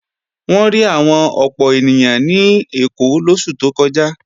Wọ́n rí àwọn ọ̀pọ̀ ènìyàn ní Èkó lóṣù tó kọjá